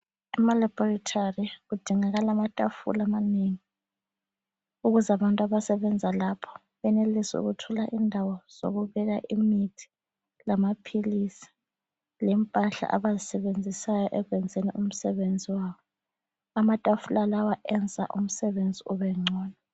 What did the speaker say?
Ema laboratory kudingakala amatafula amanengi, ukuze abantu abasebenza lapho benelise ukuthola indawo zokubeka imithi, lamaphilisi, lempahla abazisebenzisayo ekwenzeni umsebenzi wabo. Amatafula lawa enza umsebenzi ubengcono.